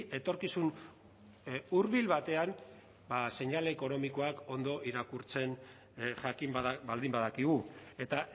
etorkizun hurbil batean seinale ekonomikoak ondo irakurtzen jakin bada baldin badakigu eta